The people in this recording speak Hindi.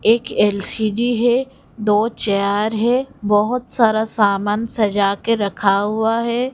एक एल_सी_डी है दो चेयर है बहोत सारा सामान सजा के रखा हुआ है।